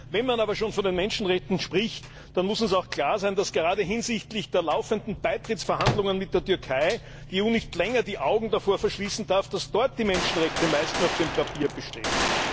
Wenn man aber schon von den Menschenrechten spricht, dann muss es auch klar sein, dass gerade hinsichtlich der laufenden Beitrittsverhandlungen mit der Türkei die EU nicht länger die Augen davor verschließen darf, dass dort die Menschenrechte meist nur auf dem Papier bestehen.